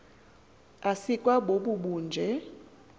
asikwa bobu bunje